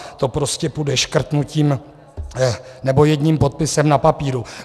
To prostě půjde škrtnutím, nebo jedním podpisem na papíru.